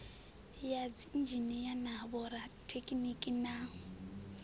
ya dziinzhinia na vhorathekhiniki na